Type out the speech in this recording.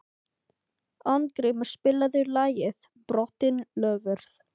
Arngrímur, spilaðu lagið „Brotin loforð“.